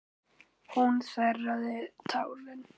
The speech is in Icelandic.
Hún þerraði tárin.